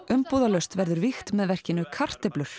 umbúðalaust verður vígt með verkinu kartöflur